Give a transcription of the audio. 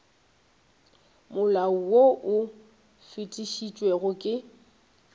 molao wo o fetišitšwego ke